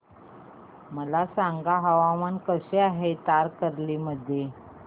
मला सांगा हवामान कसे आहे तारकर्ली मध्ये